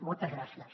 moltes gràcies